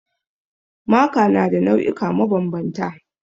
Maka na da nau'ika mabanbanta